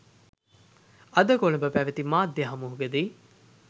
අදකොළඹ පැවති මාධ්‍ය හමුවකදී